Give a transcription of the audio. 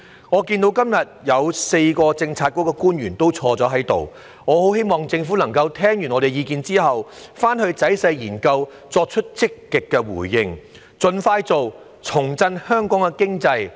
我看到今天有4位政策局官員在席，我十分希望政府聽罷我們的意見後會仔細研究，作出積極的回應並盡快做，重振香港經濟。